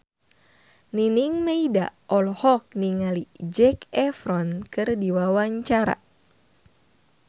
Nining Meida olohok ningali Zac Efron keur diwawancara